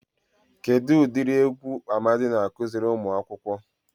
Kedụ udiri egwu Amadi na-akụziri umuakwukwu?